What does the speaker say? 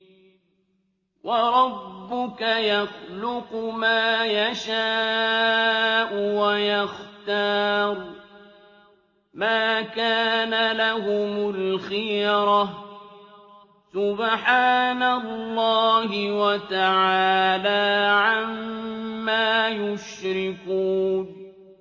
وَرَبُّكَ يَخْلُقُ مَا يَشَاءُ وَيَخْتَارُ ۗ مَا كَانَ لَهُمُ الْخِيَرَةُ ۚ سُبْحَانَ اللَّهِ وَتَعَالَىٰ عَمَّا يُشْرِكُونَ